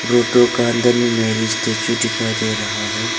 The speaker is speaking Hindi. रोकटो का अंदर में मेरी स्टैचू डिखाई दे रहा है।